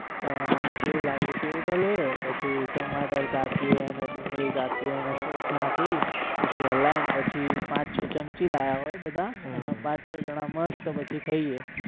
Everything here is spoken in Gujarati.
સેવ લાવે સેવ ટલવે પછી ટમાટર કાપીએ ને ડુંગરી કાપીએ ને સોસ નાખી પછી હલાઈ પછી પાંચ છ ચમચી લાયા હોય બધા અને પાંચ છ જણા મસ્ત પછી ખાઈએ